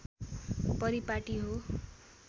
परिपाटी हो